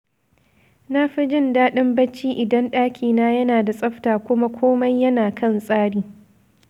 Na fi jin daɗin bacci idan ɗakina yana da tsafta kuma komai yana kan tsari.